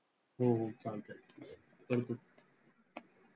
हो हो. चालतंय.